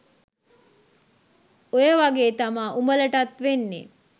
ඔය වගේ තමා උඹලටත් වෙන්නේ